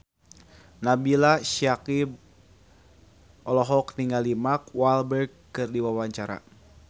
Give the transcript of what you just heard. Nabila Syakieb olohok ningali Mark Walberg keur diwawancara